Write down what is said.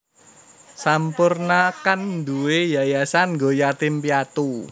Sampoerna kan nduwe yayasan nggo yatim piatu